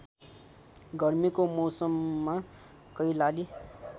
गर्मीको मौसममा कैलाली